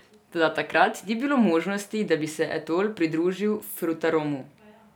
Toda takrat ni bilo možnosti, da bi se Etol pridružil Frutaromu.